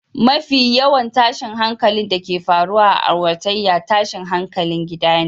Mafi yawan tashin hankalin da ke faruwa a auratayya, tashin hankalin gida ne